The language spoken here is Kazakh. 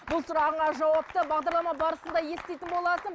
бұл сұрағыңа жауапты бағдарлама барысында еститін боласың